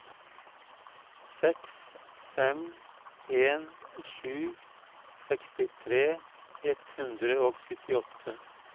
seks fem en sju sekstitre ett hundre og syttiåtte